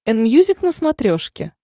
энмьюзик на смотрешке